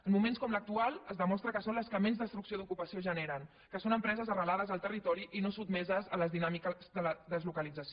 en moments com l’actual es demostra que són les que menys destrucció d’ocupació generen que són empreses arrelades al territori i no sotmeses a les dinàmiques de la deslocalització